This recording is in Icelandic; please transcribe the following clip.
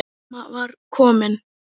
Mamma var komin.